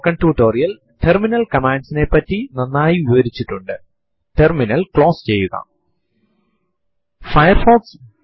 prompt ൽ date space plus percentage sign small m എന്ന് type ചെയ്തു എന്റർ അമർത്തുക